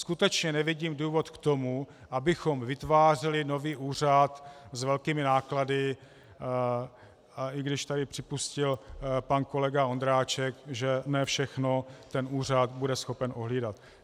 Skutečně nevidím důvod k tomu, abychom vytvářeli nový úřad s velkými náklady, a i když tady připustil pan kolega Vondráček, že ne všechno ten úřad bude schopen ohlídat.